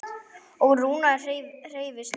Og Rúna hreifst með.